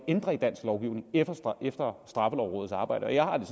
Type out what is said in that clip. ændre i dansk lovgivning efter straffelovrådets arbejde og jeg har det